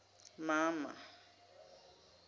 mama